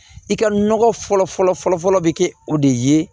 I ka nɔgɔ fɔlɔ fɔlɔ fɔlɔ bɛ kɛ o de ye